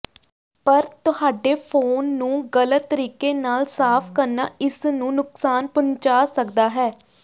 ਪਰ ਤੁਹਾਡੇ ਫੋਨ ਨੂੰ ਗਲਤ ਤਰੀਕੇ ਨਾਲ ਸਾਫ਼ ਕਰਨਾ ਇਸ ਨੂੰ ਨੁਕਸਾਨ ਪਹੁੰਚਾ ਸਕਦਾ ਹੈ